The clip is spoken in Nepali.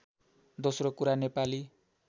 दोस्रो कुरा नेपाली